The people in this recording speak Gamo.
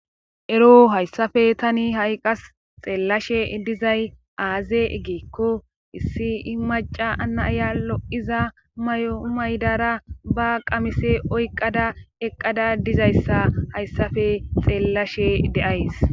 ero hayssafe tani ha'i qas xeellashe dizay aaze gikko issi i maca anaaya lo7iza mayo maydara ba qamise oyqada eqqada dizayssa hayssafe xeellashe de7ays